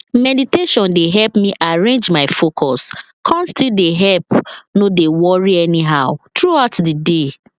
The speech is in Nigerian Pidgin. meditation dey help me arrange my focus come still dey help no dey worry anyhow throughout the day